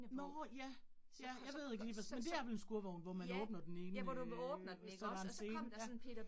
Nåh ja, ja, jeg ved ikke lige, hvad sådan, men det er vel en skurvogn, hvor man åbner den ene øh, så der er en scene ja